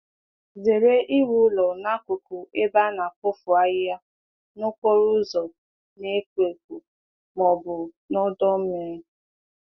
Zere iwulite ụlọ zụ ụlọ zụ anụ ọkụkọ nso ebe a na-awụpụ ihe, ụzọ juru mmadụ, ma ọ bụ ebe mmiri na-anọ ogologo oge.